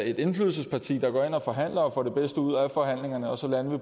et indflydelsesparti der går ind og forhandler og får det bedste ud af forhandlingerne og så landede